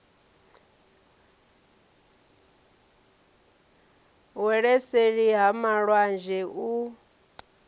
wele seli ha malwanzhe u